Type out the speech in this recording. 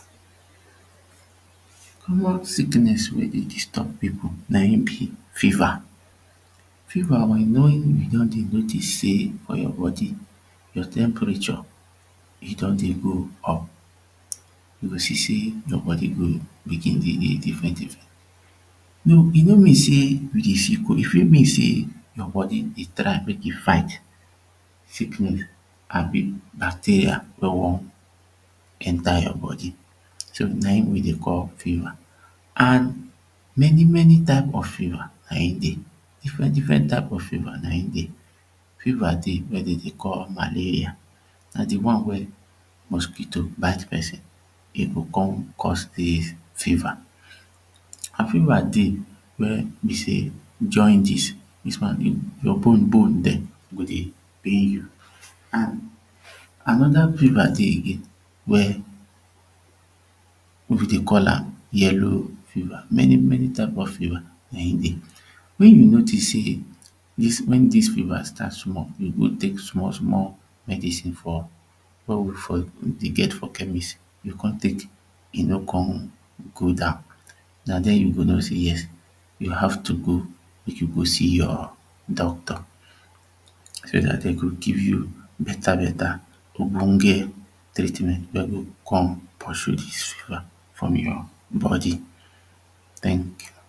common sicknes wey dey disturb people na him be fever fever wen you don dey notice sey your body your temperature e don dey go up you go see sey your body go begin dey dey diffren diffren e no mean sey you dey feel cold e fit mean sey your body try mek e fight sickness abi bacteria wey wan enter your body na him we dey call fever an many many types of fever nahim dey diffrent diffrent type of fever nahim dey. fever dey wey dem dey call malaria na de one wey mosquito bite person e go come cause dis fever. fever dey wey be sey jaundice; dis one your bone bone dem go dey pain you an anoda fever dey again wey we dey call am yellow fever. many many type of fever nahim dey. wen you notice sey wen dis fever start small you go tek small small medicine for wey we for dey get for chemist you come tek e no come go down na dieh you go know sey yes you have to go mek you go see your doctor so dat dem go give you beta beta ogbonge treatment wey go come pursue de fever from your bodi. thank you